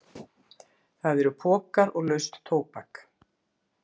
Það eru pokar og laust tóbak.